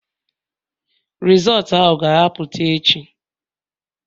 Rizọọtu ahụ ga-apụta echi